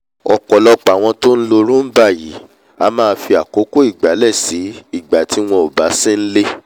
ọ̀pọ̀lọpọ̀ àwọn tó nlo roomba yìí a máa fi àkókò ìgbálẹ̀ sí ìgbà tí wọn ò bá sí n'lé